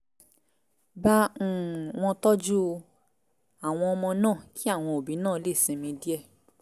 bá um wọn tọ́jú àwọn ọmọ náà kí àwọn òbí náà lè sinmi díẹ̀